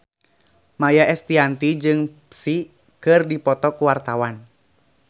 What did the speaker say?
Maia Estianty jeung Psy keur dipoto ku wartawan